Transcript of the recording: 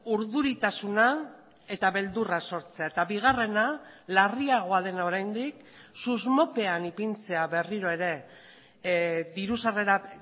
urduritasuna eta beldurra sortzea eta bigarrena larriagoa dena oraindik susmopean ipintzea berriro ere diru sarrerak